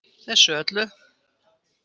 Þessu öllu.